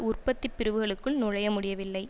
உற்பத்தி பிரிவுகளுக்குள் நுழைய முடியவில்லை